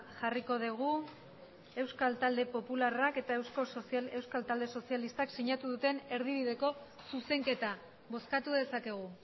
jarriko dugu euskal talde popularrak eta euskal talde sozialistak sinatu duten erdibideko zuzenketa bozkatu dezakegu